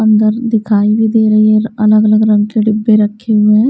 अंदर दिखाई भी दे रही है अलग अलग रंग के डब्बे रखे हुए हैं।